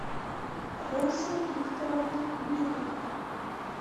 роза викторовна меликова